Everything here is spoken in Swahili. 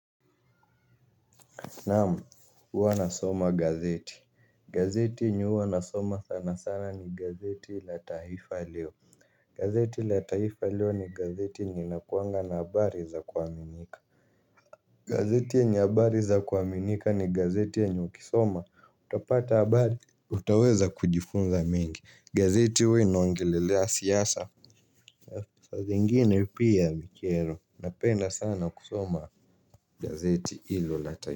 Naam, huwa nasoma gazeti. Gazeti yenye huwa nasoma sana sana ni gazeti la taifa leo. Gazeti la taifa leo ni gazeti yenye inakuanga na habari za kuaminika. Gazeti yenye habari za kuaminika ni gazeti yenye ukisoma utapata habari, utaweza kujifunza mengi, gazeti huwa inoangelelea siasa. Saa zingine pia vikelo napenda sana kusoma gazeti hilo la taifa.